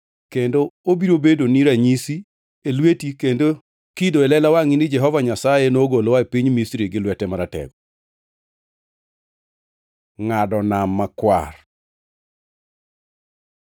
Kendo obiro bedoni kaka ranyisi e lweti kendo kido e lela wangʼi ni Jehova Nyasaye nogolowa e piny Misri gi lwete maratego.” Ngʼado Nam Makwar